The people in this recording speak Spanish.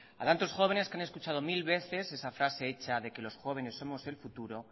a tantos jóvenes que han escuchado mil veces esa frase hecha de que los jóvenes somos el futuro